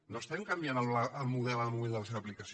no canviem el model en el moment de la seva aplicació